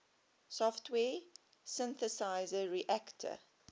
software synthesizer reaktor